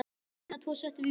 Hina tvo settum við í bönd.